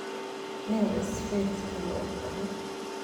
Nio isfirii sidha uuegtahy.